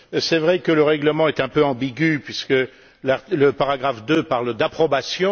Il est vrai que le règlement est un peu ambigu, puisque le paragraphe 2 parle d'approbation.